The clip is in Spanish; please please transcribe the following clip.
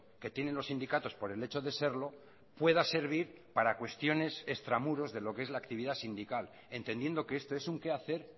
que tienen los sindicatos por el hecho de serlo pueda servir para cuestiones extramuros de lo que es la actividad sindical entendiendo que este es un que hacer